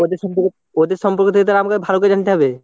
ওদের সম্পর্কে, ওদের সম্পর্কে থেকে তাহলে আমাকে ভালো করে জানতে হবে।